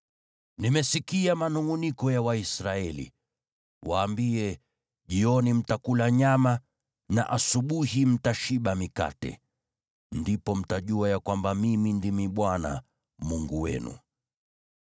“Nimesikia manungʼuniko ya Waisraeli. Waambie, ‘Jioni mtakula nyama, na asubuhi mtashiba mikate. Ndipo mtajua ya kwamba Mimi ndimi Bwana Mungu wenu.’ ”